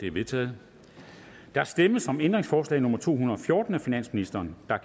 er vedtaget der stemmes om ændringsforslag nummer to hundrede og fjorten af finansministeren og